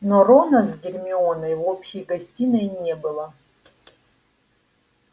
но рона с гермионой в общей гостиной не было